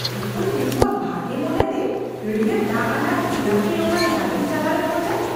ᱚᱠᱚᱭ ᱩᱝᱠᱩᱣᱟᱜ ᱵᱷᱟᱜᱮ ᱢᱚᱱᱮᱛᱮ ᱦᱟᱹᱲᱭᱟᱹᱲ ᱫᱟᱜ ᱟᱱᱟᱜ ᱜᱳᱞᱟᱯᱤ ᱨᱚᱝᱟᱱ ᱜᱟᱹᱰᱤ ᱪᱟᱞᱟᱣᱮ ᱠᱷᱚᱡᱟ ?